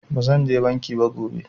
Ba zan je banki ba gobe